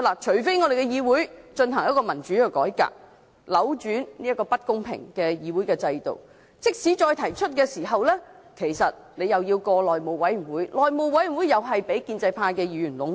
除非我們的議會進行民主改革，扭轉如此不公平的議會制度；否則，即使再提交呈請書，其實又是交予內務委員會通過，而內務委員會也是被建制派議員壟斷。